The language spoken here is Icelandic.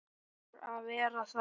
Ætlar að vera þar.